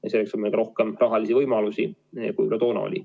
Ja selleks on meil ka rohkem rahalisi võimalusi, kui toona oli.